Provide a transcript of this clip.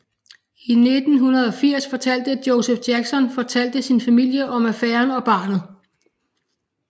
I 1980 fortalte Joseph Jackson fortalte sin familie om affæren og barnet